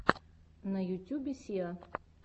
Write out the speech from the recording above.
на ютюбе сиа